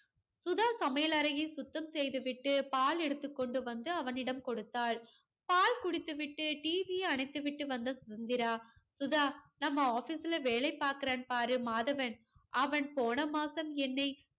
சுதா சமையல் அறையை சுத்தம் செய்து விட்டு பால் எடுத்து கொண்டு வந்து அவனிடம் கொடுத்தாள். பால் குடித்து விட்டு TV யை அணைத்துவிட்டு வந்த சுதந்திரா. சுதா, நம்ம ஆபீஸ்ல வேலை பார்க்கிறான் பாரு மாதவன், அவன் போன மாசம் என்னை